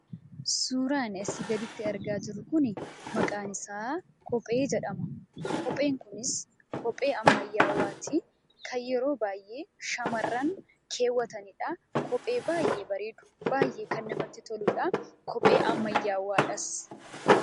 Suuraan asii gaditti argaa jirru kun maqaan isaa kophee jedhama. Kopheen kunis kophee ammayyaati. Kan yeroo baay'ee shamarran kaawwatanidha. Kophee baay'ee bareedu baay'ee kan namatti toludha. Kophee ammayyaadhas.